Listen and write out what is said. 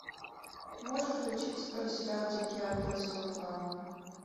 можешь включить сериал дикий ангел сезон два